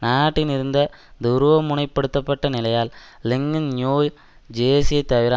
நாட்டின் இருந்த துருவமுனைப்படுத்தப்பட்ட நிலையால் லிங்கன் நியோ ஜேர்சியத் தவிர